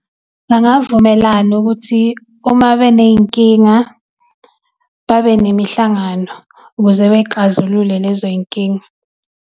Bangavumelana ukuthi uma beney'nkinga, babe nemihlangano ukuze bey'xazulule lezoy'nkinga.